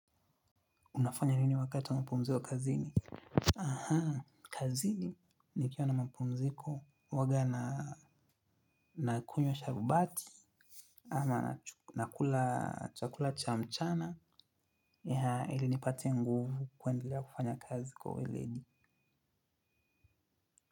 Unafanya nini wakati wa mapumziko kazini? Aha, kazini nikiwa na mapumziko huwa nakunywa sharubati ama nakula chakula cha mchana ili nipate nguvu kuendelea kufanya kazi kwa weledi.